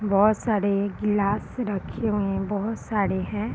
बहोत सारे ग्लास रखे हुए हैं बहुत सारे हैं |